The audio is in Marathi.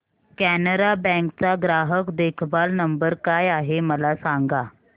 कॅनरा बँक चा ग्राहक देखभाल नंबर काय आहे मला सांगा